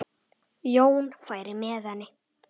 Jón færi með henni.